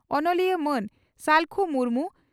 ᱚᱱᱚᱞᱤᱭᱟᱹ ᱢᱟᱹᱱ ᱥᱟᱞᱠᱷᱩ ᱢᱩᱨᱢᱩ